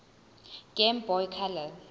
game boy color